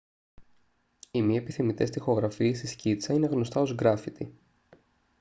οι μη επιθυμητές τοιχογραφίες ή σκίτσα είναι γνωστά ως γκράφιτι